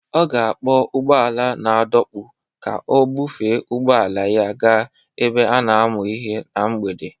Ọ ga-akpọ ụgbọ ala na-adọkpụ ka ọ bufee ụgbọ ala ya gaa ebe a na-amụ ihe na mgbede